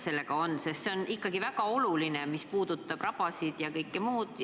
See on nende jaoks ikkagi väga oluline eelnõu, mis puudutab rabasid ja muud sellist.